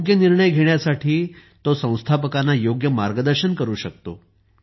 योग्य निर्णय घेण्यासाठी तो संस्थापकांना योग्य मार्गदर्शन करू शकतो